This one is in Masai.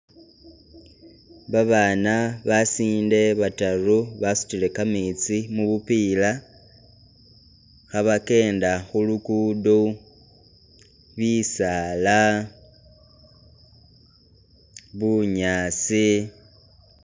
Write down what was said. Babaana basinde bataru basutile kametsi mubupila khabakenda khulukudo, bisaala, bunyaasi...